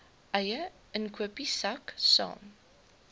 eie inkopiesak saam